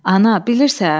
Ana, bilirsən?